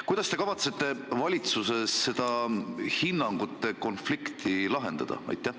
Kuidas te kavatsete valitsuses selle hinnangute konflikti lahendada?